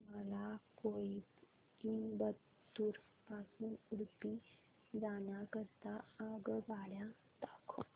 मला कोइंबतूर पासून उडुपी जाण्या करीता आगगाड्या दाखवा